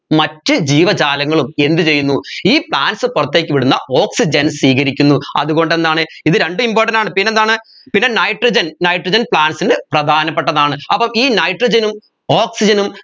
മറ്റു ജീവജാലങ്ങളും എന്ത് ചെയ്യുന്നു ഈ plants പുറത്തേക്ക് വിടുന്ന oxygen സ്വീകരിക്കുന്നു അതുകൊണ്ട് എന്താണ് ഇത് രണ്ടും important ആണ് പിന്നെന്താണ് പിന്നെ nitrogennitrogen plants ന് പ്രധാനപെട്ടതാണ് അപ്പം ഈ nitrogen ഉം oxygen ഉം